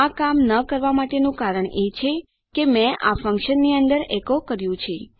આ કામ ન કરવા માટેનું કારણ એ છે કે મેં આ ફન્કશનની અંદર ઇકો કર્યું છે